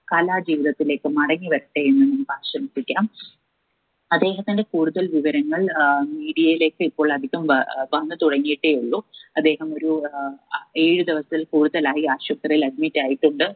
കലാജീവിതത്തിലേക്ക് മടങ്ങി വരട്ടെ എന്നും ആശംസിക്കാം അദ്ദേഹത്തിന്റെ കൂടുതൽ വിവരങ്ങൾ ഏർ media യിലേക്ക് ഇപ്പൊൾ അധികം വ ഏർ വന്ന് തുടങ്ങിയിട്ടേ ഉള്ളൂ അദ്ദേഹം ഒരു ഏർ അഹ് ഏഴ് ദിവസത്തിൽ കൂടുതലായി ആശുപത്രിയിൽ admit ആയിട്ടുണ്ട്